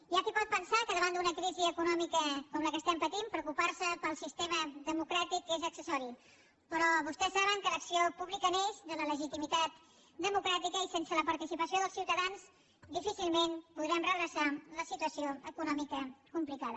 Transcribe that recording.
hi ha qui pot pensar que davant d’una crisi econòmica com la que estem patint preocupar se pel sistema democràtic és accessori però vostès saben que l’acció pública neix de la legitimitat democràtica i sense la participació dels ciutadans difícilment podrem redreçar la situació econòmica complicada